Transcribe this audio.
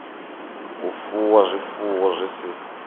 u fuwa zwifuwo zwi si